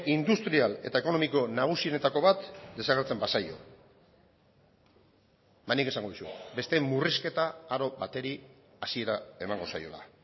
industrial eta ekonomiko nagusienetako bat desagertzen bazaio ba nik esango dizuet beste murrizketa aro bateri hasiera emango zaiola